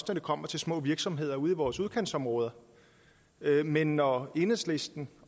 når det kommer til små virksomheder ude i vores udkantsområder men når enhedslisten